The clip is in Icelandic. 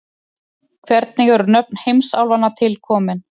hvernig eru nöfn heimsálfanna til komin